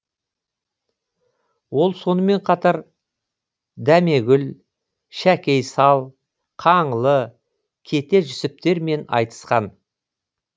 ол сонымен қатар дәмегүл шәкей сал қаңлы кете жүсіптермен айтысқан